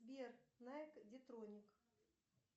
сбер найк детроник